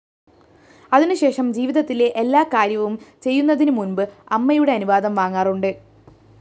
അതിനുശേഷം ജീവിതത്തിലെ എല്ലാ കാര്യവും ചെയ്യന്നതിനുമുമ്പ് അമ്മയുടെ അനുവാദം വാങ്ങാറുണ്ട്